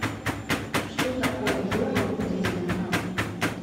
что такое йога в буддизме